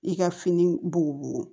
I ka fini bo